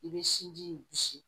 I bɛ sinji in bisi